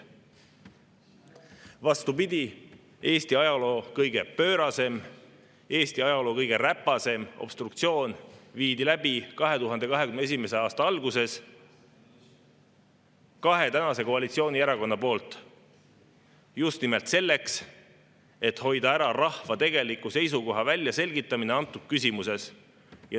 Vastupidi, Eesti ajaloo kõige pöörasem, Eesti ajaloo kõige räpasem obstruktsioon viidi läbi 2021. aasta alguses kahe tänase koalitsioonierakonna poolt just nimelt selleks, et hoida ära rahva tegeliku seisukoha väljaselgitamist antud küsimuses.